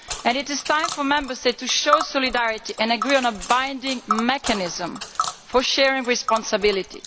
It is time for the Member States to show solidarity and agree on a binding mechanism for sharing responsibility.